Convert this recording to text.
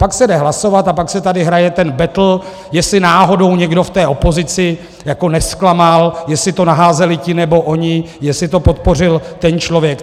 Pak se jde hlasovat a pak se tady hraje ten betl, jestli náhodou někdo v té opozici nezklamal, jestli to naházeli ti nebo oni, jestli to podpořil ten člověk.